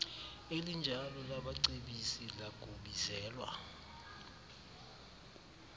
elinjalo labacebisi lakubizelwa